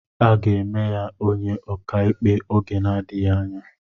Aga eme ya onye ọkàikpe oge na-adịghị anya.